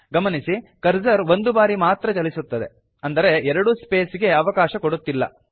ಗಮನಿಸಿ ಕರ್ಸರ್ ಒಂದು ಬಾರಿ ಮಾತ್ರ ಚಲಿಸುತ್ತದೆ ಅಂದರೆ ಎರಡು ಸ್ಪೇಸ್ ಗೆ ಅವಕಾಶ ಕೊಡುತ್ತಿಲ್ಲ